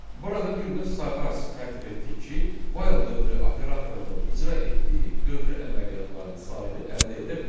Burada bir növ sayğac tərtib etdik ki, while dövrü operatorunun icra etdiyi dövrü əməliyyatların sayını əldə edə bilək.